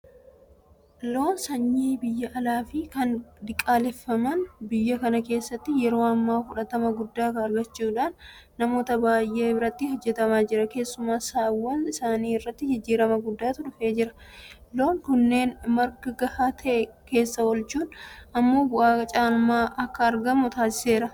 Loon sanyii biyya alaafi kan diqaaleffaman biyya kana keessatti yeroo ammaa fudhatama guddaa argachuudhaan namoota baay'eedhaan irratti hojjetamaa jira. Keessumaa saawwan isaanii irratti jijjiirama guddaatu dhufaa jira. Loon kanneen marga gahaa ta'e keessa oolchuun immoo bu'aa caalmaan akka argamu taasiseera.